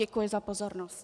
Děkuji za pozornost.